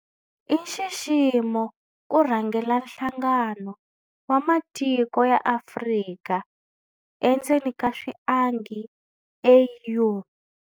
I nxiximo ku rhangela Nhlangano wa Matiko ya Afrika endzeni ka swiangi, AU.